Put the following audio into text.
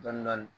Dɔɔnin dɔɔnin